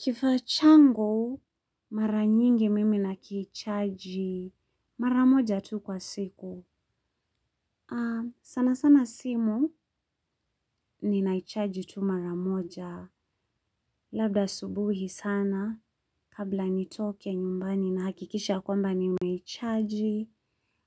Kifaa changu mara nyingi mimi na kichaji mara moja tu kwa siku. Sana sana simu ninaichaji tu mara moja. Labda subuhi sana kabla nitoke nyumbani nahakikisha kwamba nimeichaji.